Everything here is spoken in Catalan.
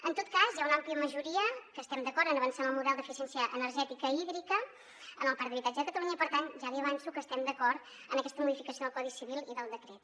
en tot cas hi ha una àmplia majoria que estem d’acord en avançar en el model d’eficiència energètica i hídrica en el parc d’habitatge de catalunya i per tant ja li avanço que estem d’acord en aquesta modificació del codi civil i del decret